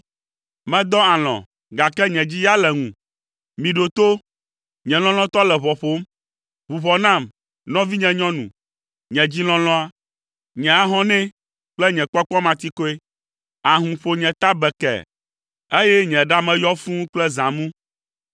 Medɔ alɔ̃, gake nye dzi ya le ŋu. Miɖo to! Nye lɔlɔ̃tɔ le ʋɔ ƒom! “Ʋu ʋɔ nam, nɔvinye nyɔnu, nye dzi lɔlɔ̃a, nye ahɔnɛ kple nye kpɔkpɔmatikɔe. Ahũ ƒo nye ta bekee, eye nye ɖa me yɔ fũu kple zãmu.